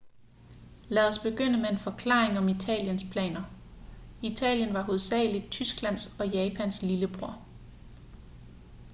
lad os begynde med en forklaring om italiens planer italien var hovedsageligt tysklands og japans lillebror